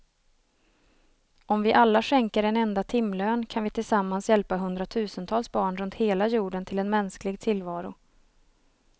Om vi alla skänker en enda timlön kan vi tillsammans hjälpa hundratusentals barn runt hela jorden till en mänsklig tillvaro.